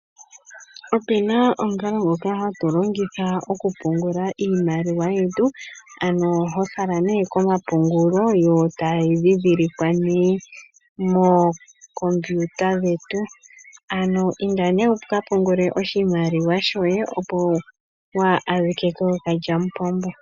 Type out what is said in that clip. Opena omukalo ngoka hatu longitha oku pungula iimaliwa yetu ano hofala nee komapungulo yo tayi ndhindhilikwa nee mookompiyuta dhetu, ano inda nee wukapungule oshimaliwa shoye opo waa adhike kookalyamupombo.